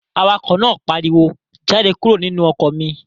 Awakọ̀ náà pariwo, "Jáde kúrò nínú ọkọ̀ mi!"